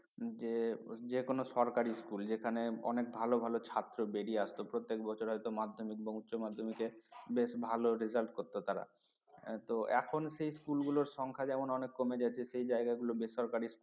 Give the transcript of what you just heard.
যে~ যে কোন সরকারি school যেখানে অনেক ভালো ভালো ছাত্র বেরিয়ে আসতো প্রত্যেক বছর হয়তো মাধ্যমিক বা উচ্চ মাধ্যমিকে বেশ ভালো result করত তারা তো এখন সেই স্কুলগুলোর সংখ্যা যেমন অনেক কমে যাচ্ছে সেই জায়গাগুলো বেসরকারি